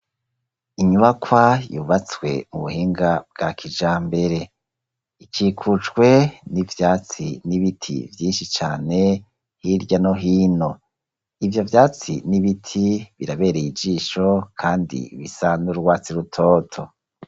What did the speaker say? Inyubakwa yubatswe mu buhinga bwa kijambere, ikikujwe n'ivyatsi n'ibiti vyinshi cane hirya no hino, ivyo vyatsi n'ibiti birabereye ijisho kandi bisa n'urwatsi rutoto.